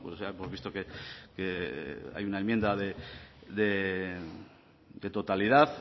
ya hemos visto que hay una enmienda de totalidad